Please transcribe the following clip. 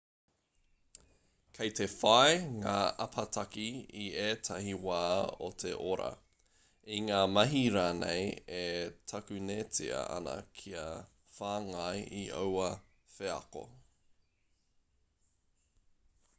kei te whai ngā apataki i ētahi wā o te ora i ngā mahi rānei e takunetia ana kia whāngai i aua wheako